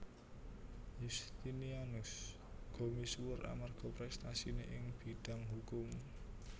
Yustinianus uga misuwur amarga préstasiné ing bidang hukum